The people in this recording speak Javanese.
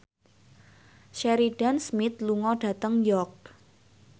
Sheridan Smith lunga dhateng York